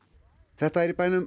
þetta er í bænum